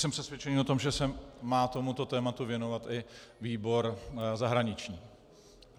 Jsem přesvědčený o tom, že se má tomuto tématu věnovat i výbor zahraniční.